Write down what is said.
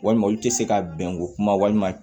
Walima olu tɛ se ka bɛnko kuma walima